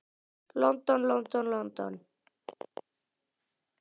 London, London, London.